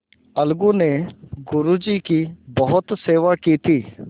अलगू ने गुरु जी की बहुत सेवा की थी